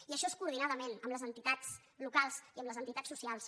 i això és coordinadament amb les entitats lo·cals i amb les entitats socials